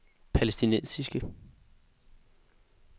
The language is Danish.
palæstinensiske